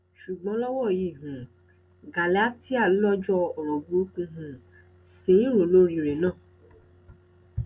ṣùgbọn lọwọ yìí um gálátíà lọjọ ọrọ burúkú um ṣì ń rò lórí rẹ ná